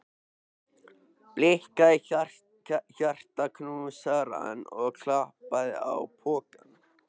Blikkaði hjartaknúsarann og klappaði á pokann.